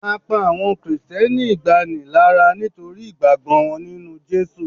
a pa awọn Kristẹni igbani lara nitori ìgbàgbọ wọn ninu Jesu